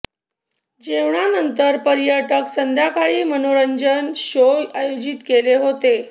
जेवणा नंतर पर्यटक संध्याकाळी मनोरंजन शो आयोजित केले होते